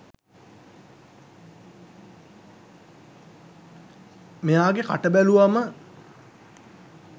මෙයාගෙ කට බැලුවම